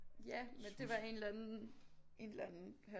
Ja men det var en eller anden en eller anden han